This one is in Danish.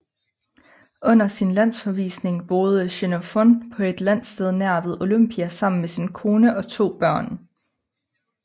Under sin landsforvisning boede Xenofon på et landsted nær ved Olympia sammen med sin kone og to børn